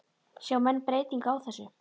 Sjá menn breytingu á þessu?